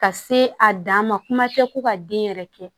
Ka se a dan ma kuma tɛ ko ka den yɛrɛ kɛ